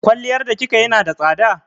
Kwalliyar da kika yi na da tsada?